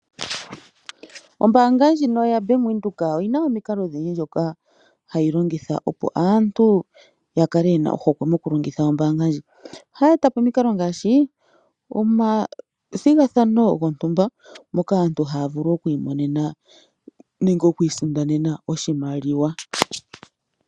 Ombaanga ndjino ya Venduka oyina omikalo odhindji ndhoka hayi longitha opo aantu yakele yena ohokwe moku longitha ombaanga ndjika. Ohayi etapo omikalo ngaashi omathigathano moka aantu yena oku isindanena nenge okumona oshimaliwa